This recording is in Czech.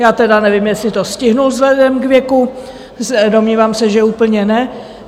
Já teda nevím, jestli to stihl vzhledem k věku, domnívám se, že úplně ne.